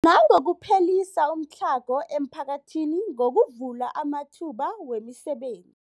Nangokuphelisa umtlhago emiphakathini ngokuvula amathuba wemiseben